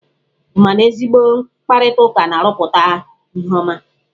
Ị ma na ezigbo mkparịtaụka na-arụpụta ihe ọma?